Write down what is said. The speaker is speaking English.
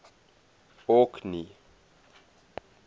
orkney